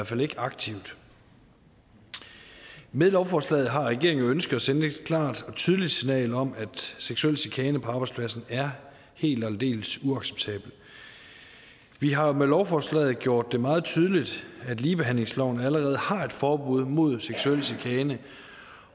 fald ikke aktivt med lovforslaget har regeringen ønsket at sende et klart og tydeligt signal om at seksuel chikane på arbejdspladsen er helt og aldeles uacceptabelt vi har med lovforslaget gjort det meget tydeligt at ligebehandlingsloven allerede har et forbud mod seksuel chikane